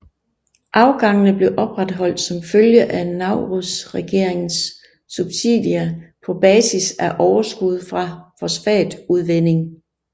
Afgangene blev opretholdt som følge af Naurus regerings subsidier på basis af overskud fra fosfatudvinding